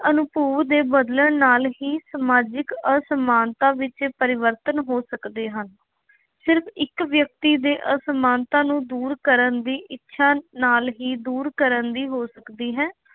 ਅਨੁਭੂ ਦੇ ਬਦਲਣ ਨਾਲ ਹੀ ਸਮਾਜਿਕ ਅਸਮਾਨਤਾ ਵਿੱਚ ਪਰਿਵਰਤਨ ਹੋ ਸਕਦੇ ਹਨ। ਸਿਰਫ ਇੱਕ ਵਿਅਕਤੀ ਦੇ ਅਸਮਾਨਤਾ ਨੂੰ ਦੂਰ ਕਰਨ ਦੀ ਇੱਛਾ ਨਾਲ ਹੀ ਦੂਰ ਕਰਨ ਦੀ ਹੋ ਸਕਦੀ ਹੈ।